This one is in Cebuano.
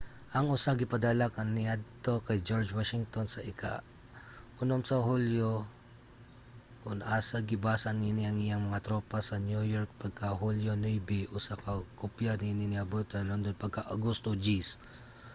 ang usa gipadala kaniadto kay george washington sa ika-6 sa hulyo kun asa gibasa niini sa iyahang mga tropa sa new york pagka hulyo 9. usa ka kopya niini niabot sa london pagka agosto 10